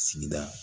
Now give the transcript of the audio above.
Sigida